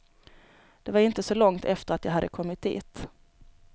Det var inte så långt efter att jag hade kommit dit.